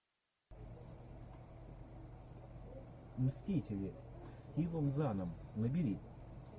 мстители с стивом заном набери